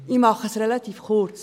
Ich mache es relativ kurz.